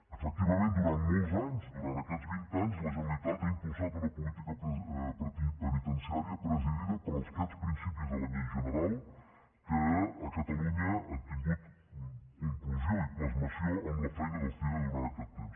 efectivament durant molts anys durant aquests vint anys la generalitat ha impulsat una política penitenciària presidida per aquests principis de la llei general que a catalunya han tingut conclusió i plasmació amb la feina del cire durant aquest temps